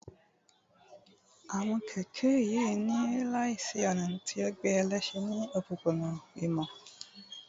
Awọn kẹkẹ n yi laisiyonu, ti o gbe ẹlẹṣin ni opopona ìmọ